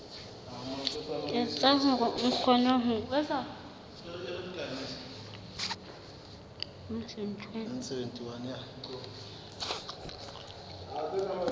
etsa hore a kgone ho